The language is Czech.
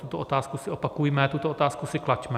Tuto otázku si opakujme, tuto otázku si klaďme.